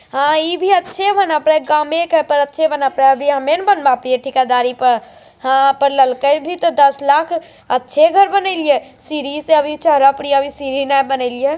हं इभी अच्छे बना अपने काम में अच्छे बने ना अमीन बैन गाड़ी के ऊपर हां फिर लड़का है अभी तो दस लाख है अच्छे घर बन रहे हैं सीढ़ी पर चढ़ गया अभी सीधी ना बनी रहे है।